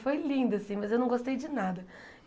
Foi lindo assim, mas eu não gostei de nada.